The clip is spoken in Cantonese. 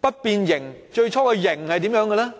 不變形的最初形式如何。